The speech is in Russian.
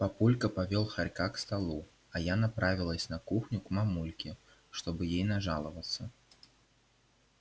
папулька повёл хорька к столу а я направилась на кухню к мамульке чтобы ей нажаловаться